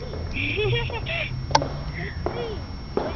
সত্যি ওই